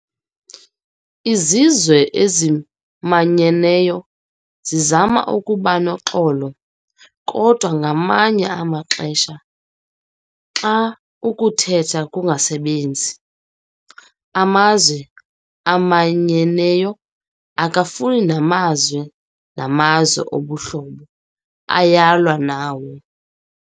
Izizwe ezimanyeneyo zizama ukubanoxolo, kodwa ngamanye amaxesha xa ukuthetha kungasasebenzi, amazwe amanyeneyo, akafani namazwe namazwe obuhlobo, ayalwa nawo.